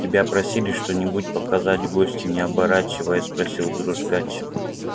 тебя просили что нибудь показать гостю не оборачиваясь спросил дрожкач